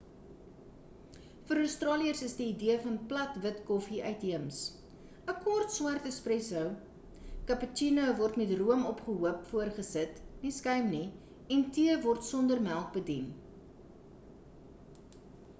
vir australiërs is die idee van 'plat wit' koffie uitheems. 'n kort swart is 'espresso' cappuccino word met room opgehoop voorgesit nie skuim nie en tee word sonder melk bedien